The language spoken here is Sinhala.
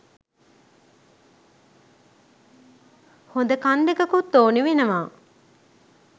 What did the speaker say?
හොද කන් දෙකකුත් ඕනේ වෙනවා